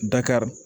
Dakari